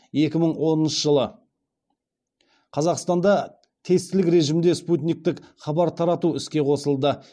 екі мың оныншы жылы қазақстанда тестілік режимде спутниктік хабар тарату іске қосылды